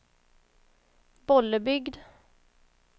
Bollebygd